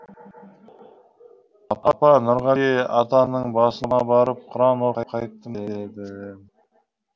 апа нұрғали атаның басына барып құран оқып қайттым дедім